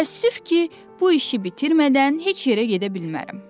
Təəssüf ki, bu işi bitirmədən heç yerə gedə bilmərəm.